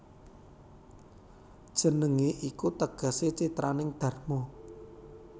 Jenengé iku tegesé citraning dharma